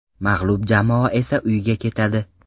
Mag‘lub jamoa esa uyiga ketadi.